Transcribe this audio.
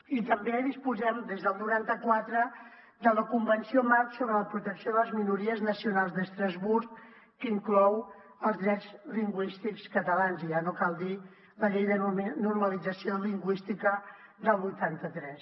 i també disposem des del noranta quatre de la convenció marc per a la protecció de les minories nacionals d’estrasburg que inclou els drets lingüístics catalans i ja no cal dir la llei de normalització lingüística del vuitanta tres